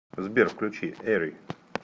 сбер включи эри